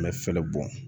Mɛ fɛɛrɛ bɔn